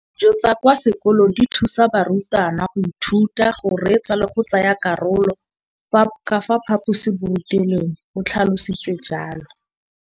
Dijo tsa kwa sekolong dithusa barutwana go ithuta, go reetsa le go tsaya karolo ka fa phaposiborutelong, o tlhalositse jalo.